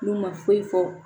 N'u ma foyi fɔ